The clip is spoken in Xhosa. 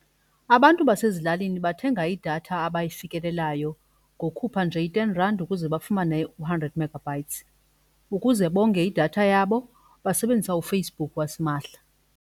Abantu basezilalini bathenga idatha abayifikelelayo ngokhupha nje i-ten rand ukuze bafumane hundred megabytes. Ukuze bonge idatha yabo basebenzisa uFacebook wasimahla.